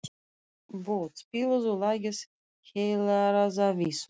Bót, spilaðu lagið „Heilræðavísur“.